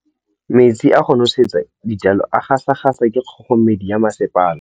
Metsi a go nosetsa dijalo a gasa gasa ke kgogomedi ya masepala.